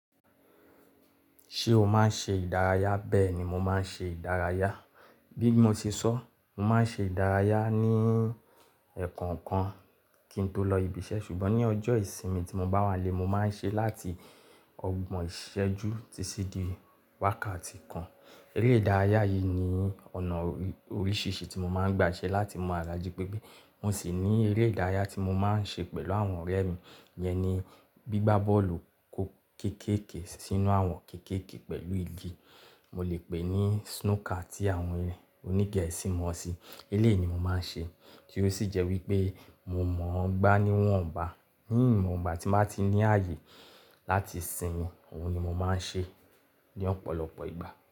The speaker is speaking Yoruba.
Ṣé o máa ń ṣe ìdárayá? Bẹ́ẹ̀ ni mo máa ń ṣe ìdárayá. Bí mo ṣe sọ, mo máa ń ṣe ìdárayá ní ẹ̀ko kan kí n tó lọ ibi iṣẹ́ ṣùgbọ́n ní ọjọ́ ìsinmi tí mo bá wá lé, mo máa ń ṣe láti ọgbọ̀n ìṣẹ́jú títí di wákàtí kan. Eré ìdárayá yìí ni ọ̀nà oríṣìíríṣìí tí mo máa ń gba ṣẹ́ láti mú ara jí pépé. Mo sì ní eré ìdárayá tí mo máa ń ṣe pẹ̀lú àwọn ọ̀rẹ́ mi, iyẹn ni gbígbá bọ́ọ̀lù kéékèèké sínú àwọn kéékèèké pẹ̀lú igi, mo lè pè é ní Snooker tí àwọn onígẹ̀ẹ̀sì mọ̀ ọ́ sí. Eléyi ni mo máa ń ṣe, tí ó sì jẹ́ wípé mo mọ̀ ọ́n gbá níwọ̀n bá. Ní ìgbà tí mo bá ti ní ààyè láti sin mi, òun ni mo máa ń ṣe ní ọ̀pọ̀lọpọ̀ ìgbà.